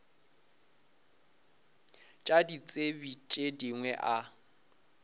tša ditsebi tše dingwe a